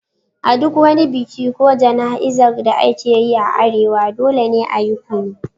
A duk wani biki ko jana'izar da ake yi a arewa, dole ne a yi kunu.